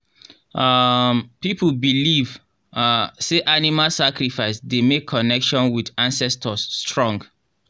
um people believe um say animal sacrifice dey make connection with ancestors strong.